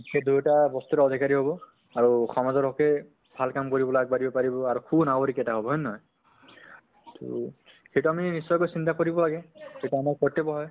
সেই দুয়োটা বস্তুৰে অধিকাৰী হʼব আৰু সমাজৰ হʼকে ভাল কাম কৰিবলে আগ বাঢ়িব পাৰিব আৰু সুনাগৰিক এটা হʼব, হয় নে নহয়? তʼ সেইটো আমি নিশ্চয়কৈ চিন্তা কৰিব লাগে, সেইটো আমাৰ কৰ্তৈব্য় হয়